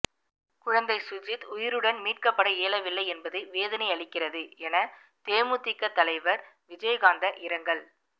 குழந்தை சுஜித் உயிருடன் மீட்கப்பட இயலவில்லை என்பது வேதனை அளிக்கிறது என தேமுதிக தலைவர் விஜயகாந்த இரங்கல்